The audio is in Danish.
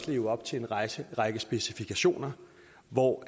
leve op til en række række specifikationer hvor